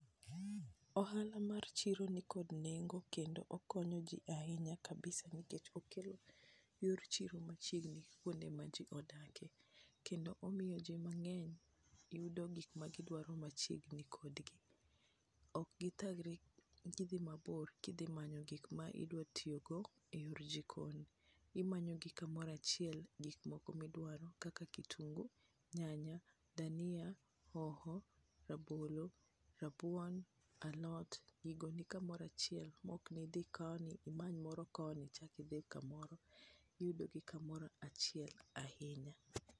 ohala mar chiro ni kod nengo kendo okonyo ji ahinya kabisa nikech okelo yor chiro machiegni kuonde ma ji odake kendo omiyo ji mang'eny yudo gik magi dwaro machiegni kod gi ,ok githagre gidhi mabor gi manyo gik ma idwaro tiyo go e jikon, imanyo gi kamora chiel gik ma idwaro kaka kitungi nyanya dhania hoho ,rabolo, rabuon ,alot gigo ni kumora chiel ma ok ni dhi koni imany moro koni ichak idhi kamoro iyudo gi kamoro achiel ahinya.